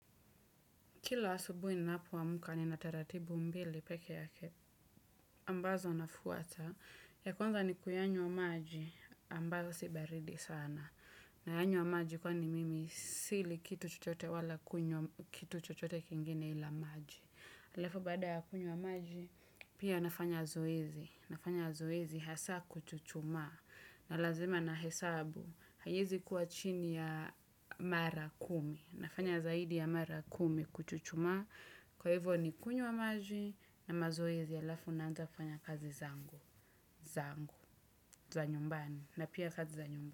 Kila asubui ninapowamuka ninataratibu mbili peke yake. Ambazo nafuata. Ya kwanza ni kuyanywa maji, ambazo si baridi sana. Nayanywa maji kwani mimi sili kitu chochote wala kunywa, kitu chochote kingine ila maji. Alafu baada ya kunywa maji, pia nafanya zoezi. Nafanya zoezi hasa kuchuchuma. Na lazima nahesabu, hayezi kuwa chini ya mara kumi. Nafanya zaidi ya mara kumi kuchuchuma kwa hivyo ni kunywa maji na mazoezi yalafu naanza kufanya kazi zangu zangu, za nyumbani na pia kazi za nyumbani.